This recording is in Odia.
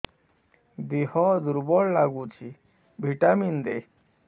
ଦିହ ଦୁର୍ବଳ ଲାଗୁଛି ଭିଟାମିନ ଦେ